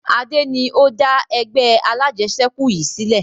Adé ni ó dá ẹgbẹ́ alajẹsẹ́kù yìí sílẹ̀